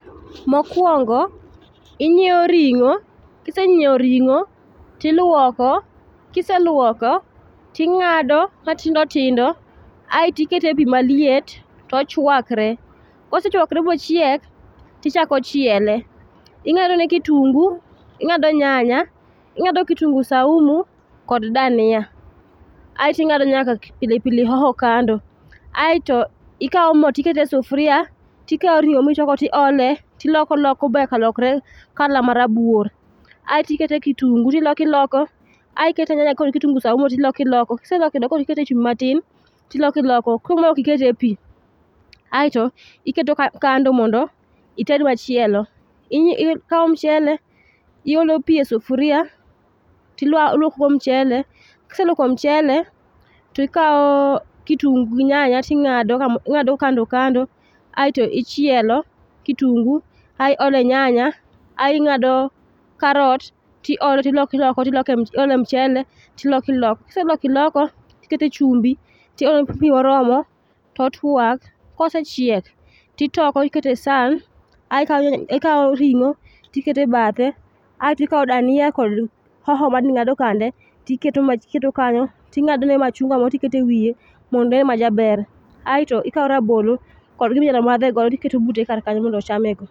Mokuongo inyiewo ringo kisenyiewo ring tiluoko, kiseluok ting'ado matindo tindo aeto ikete pii maliet tochwakre kosechwakre mociek tichako chiele. Ing'adone kitungu ing'ado nyanya ing'ado kitungu saumu kod dania. aeto ing'ado nyaka pilipili hoho kando. Aeto ikawo moo tikete sufuria tikawo ringo'o michwako ti ole tiloko loko banyaka lokre colour marabuor aetikete kitungu tiloko iloko, aekete nyanya kod kitungu saumu tiloko iloko kiseloko tikete echumbi matin tiloko iloko koro mae okikete pii. Aeto iketo kando mondo ited machielo. Ikawo mchele iolo pii esufuria tiluokogo mchele kiseluoko mchele tikawo kitungu gi nyanya ting'ado kamo ing'ado kando kando aeto ichielo kitungu ae ole nyanya ai ng'ado karot tiole tiloko iloko tiloko ti ole mchele tiloko iloko. Kiseloko iloko, tikete chumbi to ilo pii moromo totwak kosechiek titoko ikete san aei kawo nya ikawo ringo tikete ebathe aeto ikawo dania kod hoho mane ing'ado kande tiketo kanyo ti ng'adone machunga moro tikete ewiye mondo onen majaber aeto ikawo rabolo kod gima inyalo madhe godo tiketo bute kar kanyo mondo ochamego.